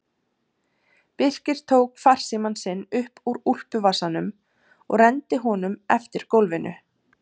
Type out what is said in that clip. Birkir tók farsímann sinn upp úr úlpuvasanum og renndi honum eftir gólfinu.